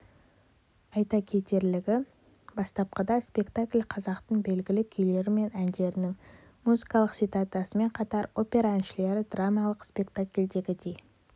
айта кетерлігі бастапқыда спектакль қазақтың белгілі күйлері мен әндерінің музыкалық цитатасымен қатар опера әншілері драмалық спектакльдегідей